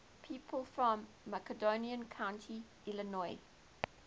people from macon county illinois